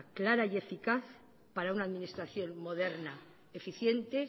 clara y eficaz para una administración moderna eficiente